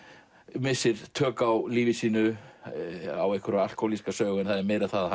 missir tök á lífi sínu á einhverja alkóhólíska sögu en það er meira það að